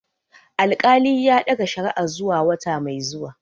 Alƙali ya ɗaga shari'a zuwa wata mai zuwa.